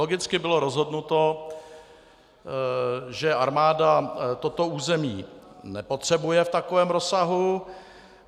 Logicky bylo rozhodnuto, že armáda toto území nepotřebuje v takovém rozsahu.